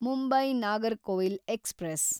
Mumbai Nagercoil express